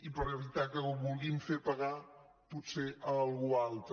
i per evitar que ho vulguin fer pagar potser a algú altre